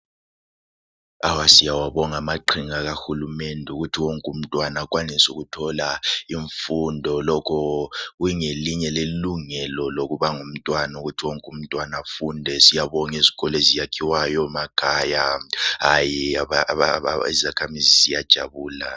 Siyawabonga amaqhinga kahulumende wokuthi wonke umntwana akwanise ukuthola imfundo. Lokho kungelinye lelungelo lokuba ngumntwana ukuthi wonke umntwana afunde. Siyabona izikolo ezakhiwayo emakhaya , hayi izakhamuzi ziyajabula.